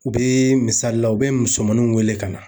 U be misali la, u be musomaninw wele ka na.